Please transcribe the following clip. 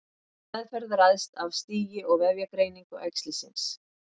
Meðferð ræðst af stigi og vefjagreiningu æxlisins.